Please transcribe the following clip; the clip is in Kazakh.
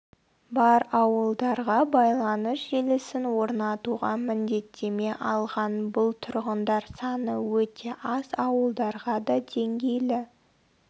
бар ауылдарға байланыс желісін орнатуға міндеттеме алған бұл тұрғындар саны өте аз ауылдарға да деңгейлі